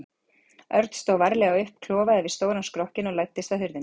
Örn stóð varlega upp, klofaði yfir stóran skrokkinn og læddist að hurðinni.